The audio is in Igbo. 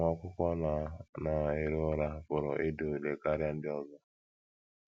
Nwa akwụkwọ na na - ero ụra pụrụ ịda ule karịa ndị ọzọ.